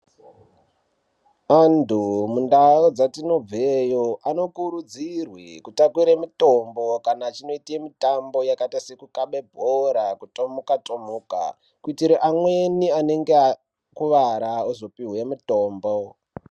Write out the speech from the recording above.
Antu mundau dzatinobveyo ano kuridzirwe kutakure mitombo kana achinoite mitambo yakaite se kukabe bhora kutomuka tomuka kuitire amweni ane ge vakuwara ozopiwe mutombo.